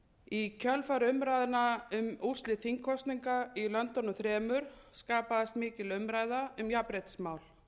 í kjölfar umræðna um úrslit þingkosninga í löndunum þremur skapaðist mikil umræða um jafnréttismál